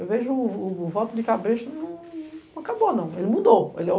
Eu vejo o voto de cabresto não acabou não, ele mudou.